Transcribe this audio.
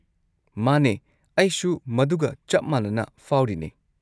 ꯃꯥꯅꯦ ꯑꯩꯁꯨ ꯃꯗꯨꯒ ꯆꯞ ꯃꯥꯟꯅꯅ ꯐꯥꯎꯔꯤꯅꯦ꯫